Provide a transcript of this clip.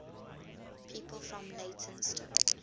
people from leytonstone